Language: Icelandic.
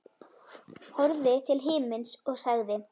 Horfði til himins og sagði: